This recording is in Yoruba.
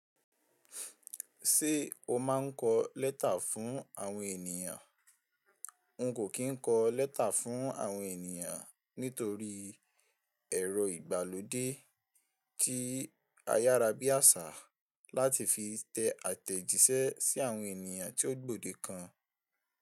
Ṣé o máa ń kọ lẹ́tà fún àwọn ènìyàn? N kò kín kọ lẹ́tà fún àwọn ènìyàn nítorí ẹ̀rọ ìgbàlódé tí ayárábiàsà láti fi tẹ àtẹ̀jíṣẹ́ sí àwọn ènìyàn tí ó gbòde kan.